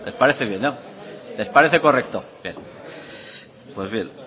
parece bien no les parece correcto bien